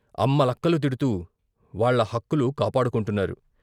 అమ్మలక్కలు తిడుతూ వాళ్ళ హక్కులు కాపాడుకొంటున్నారు.